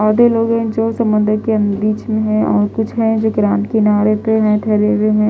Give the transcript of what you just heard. और भी लोग है जो समुन्द्र के बीच में है और कुछ है जो रेम किनारे पर खड़े हुए है।